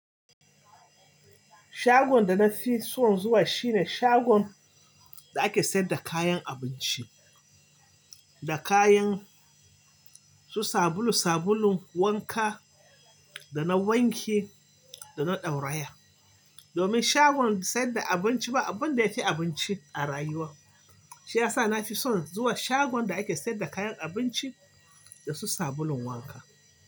Shagon da na fi son zuwa shine shagon da ake sayar da kayan abinci da kayan su, sabulu-sabulun wanka da na wanki da na ɗauraye. Domin shagon bai sayar da abinci ba abin da ya fi abinci a rayuwa, shi ya sa na fi son zuwa shagon da ake sayar da kayan abinci da su sabulun wanka.